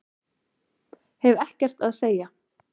Hef ekkert að segja